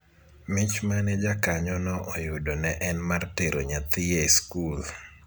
mich mane jakanyo no oyudo ne en mar tero nyathi e sikul